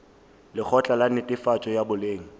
lekgotla la netefatšo ya boleng